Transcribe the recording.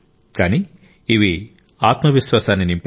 కానీ ఇవి ఆత్మవిశ్వాసాన్ని నింపాయి